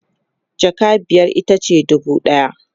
jaka biyar itace dubu ɗaya